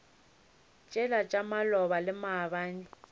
tšela tša maloba le maabane